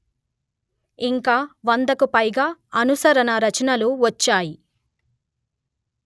ఇంకా వందకు పైగా అనుసరణ రచనలు వచ్చాయి